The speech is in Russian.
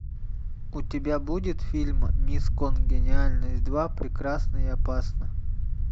у тебя будет фильм мисс конгениальность два прекрасна и опасна